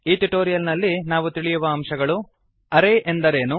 ಈ ಟ್ಯುಟೋರಿಯಲ್ ನಲ್ಲಿ ನಾವು ತಿಳಿಯುವ ಅಂಶಗಳು160 ಅರೇ ಎಂದರೇನು